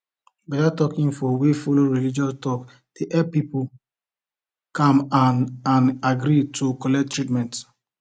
better health info wey follow religion talk dey help people calm and and agree to collect treatment